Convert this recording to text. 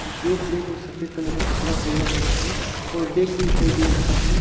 जो ब्लैक और सफ़ेद कलर का कपड़ा पेहना हुआ है और बेग भी दिखाई दे रहा है।